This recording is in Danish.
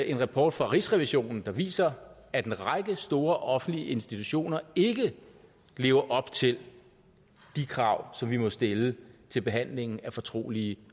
en rapport fra rigsrevisionen der viser at en række store offentlige institutioner ikke lever op til de krav som vi må stille til behandlingen af fortrolige